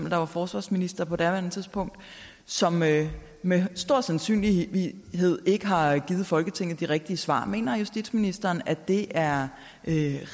var forsvarsminister på daværende tidspunkt som med med stor sandsynlighed ikke har givet folketinget de rigtige svar mener justitsministeren at det er